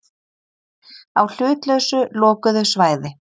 Á hlutlausu lokuðu svæði.